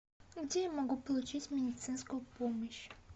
где я могу получить медицинскую помощь